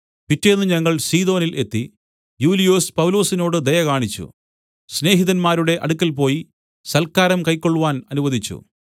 പിറ്റേന്ന് ഞങ്ങൾ സീദോനിൽ എത്തി യൂലിയൊസ് പൗലൊസിനോട് ദയ കാണിച്ചു സ്നേഹിതന്മാരുടെ അടുക്കൽ പോയി സൽക്കാരം കൈക്കൊൾവാൻ അനുവദിച്ചു